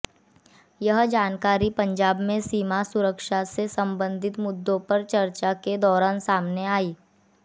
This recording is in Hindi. यह जानकारी पंजाब में सीमा सुरक्षा से संबंधित मुद्दों पर चर्चा के दौरान सामने आई